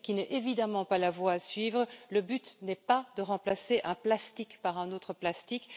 Ce n'est évidemment pas la voie à suivre, le but n'étant pas de remplacer un plastique par un autre plastique.